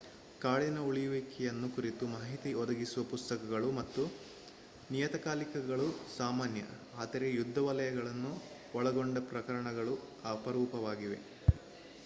ಕಾಡಿನ ಉಳಿಯುವಿಕೆಯನ್ನು ಕುರಿತು ಮಾಹಿತಿ ಒದಗಿಸುವ ಪುಸ್ತಕಗಳು ಮತ್ತು ನಿಯತಕಾಲಿಕೆಗಳು ಸಾಮಾನ್ಯ ಆದರೆ ಯುದ್ಧ ವಲಯಗಳನ್ನು ಒಳಗೊಂಡ ಪ್ರಕಟಣೆಗಳು ಅಪರೂಪವಾಗಿವೆ